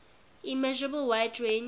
immeasurable wide range